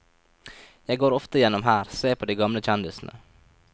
Jeg går ofte gjennom her, ser på de gamle kjendisene.